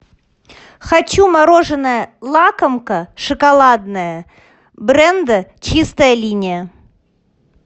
хочу мороженое лакомка шоколадное бренда чистая линия